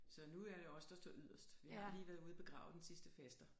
Så nu er det os der står yderst vi har lige været ude at begrave den sidste faster